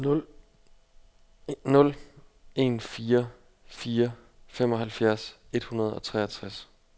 nul en fire fire femoghalvfjerds et hundrede og treogtres